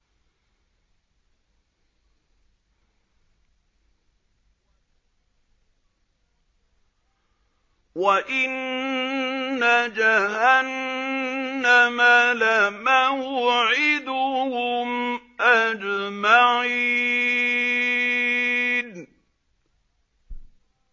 وَإِنَّ جَهَنَّمَ لَمَوْعِدُهُمْ أَجْمَعِينَ